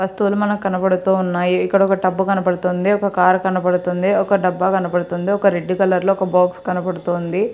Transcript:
వస్తువులు మనకి కనబడుతూ ఉన్నాయి. ఇక్కడ ఒక టబ్బు కనబడుతుంది. ఒక కార్ కనబడుతుంది. ఒక డబ్బా కనబడుతుంది. ఒక రెడ్ కలర్ లో ఒక బాక్స్ కనబడుతుంది.